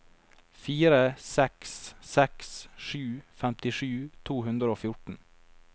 fire seks seks sju femtisju to hundre og fjorten